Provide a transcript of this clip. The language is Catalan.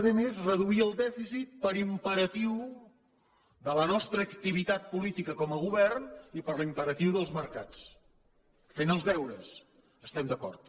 volem a més reduir el dèficit per imperatiu de la nostra activitat política com a govern i per l’imperatiu dels mercats fent els deures estem d’acord